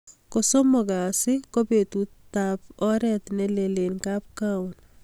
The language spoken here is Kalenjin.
Kosomok kasi kobetutab orent nelel eng kapkagaon